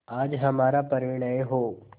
आज हमारा परिणय हो